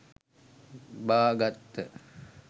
බා ගත්ත.